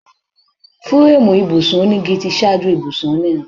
Fúréémù ibùsùn onígi tí ṣáájú ibùsùn onírin.